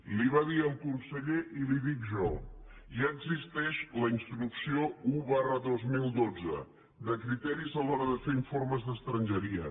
li ho va dir el conseller i li ho dic jo ja existeix la instrucció un dos mil dotze de criteris a l’hora de fer informes d’estrangeria